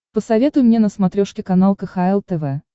посоветуй мне на смотрешке канал кхл тв